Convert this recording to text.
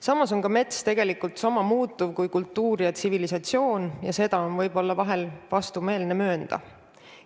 Samas on ka mets tegelikult sama muutuv kui kultuur ja tsivilisatsioon, ja seda on võib-olla vahel vastumeelne möönda.